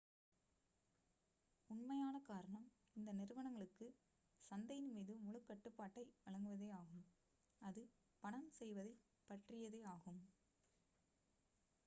உண்மையான காரணம் இந்த நிறுவனங்களுக்கு சந்தையின் மீது முழுக் கட்டுப்பாட்டை வழங்குவதே ஆகும் அது பணம் செய்வதைப் பற்றியதே ஆகும்